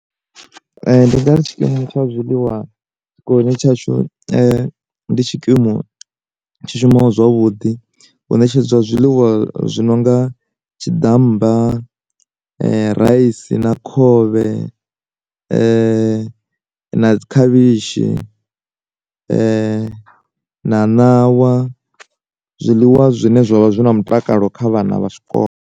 Ndi ngari tshikimu tsha zwiḽiwa tshikoloni tshashu ndi tshikimu tshi shumaho zwavhuḓi, hu ṋetshedza zwiḽiwa zwi nonga tshiḓammba, raisi na khovhe, na dzi khavhishi, na ṋawa zwiḽiwa zwine zwavha zwi na mutakalo kha vhana vha tshikolo.